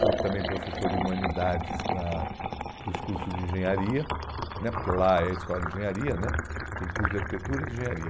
Fui também professor de humanidades na para os cursos de engenharia né, porque lá é escola de engenharia né, tem curso de arquitetura e de engenharia.